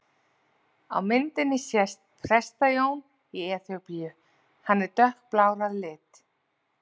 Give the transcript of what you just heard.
Á myndinni sést Presta-Jón í Eþíópíu, hann er dökkblár á lit.